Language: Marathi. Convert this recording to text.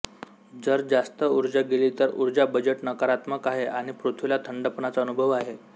जर जास्त ऊर्जा गेली तर उर्जा बजेट नकारात्मक आहे आणि पृथ्वीला थंडपणाचा अनुभव आहे